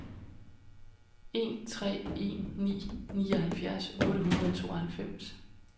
en tre en ni nioghalvfjerds otte hundrede og tooghalvfems